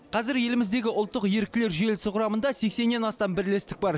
қазір еліміздегі ұлттық еріктілер желісі құрамында сексеннен астам бірлестік бар